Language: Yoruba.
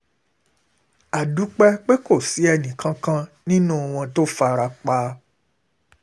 ó dúpẹ́ pé kò sí ẹnìkan kan ẹnìkan kan nínú àwọn tó fara pa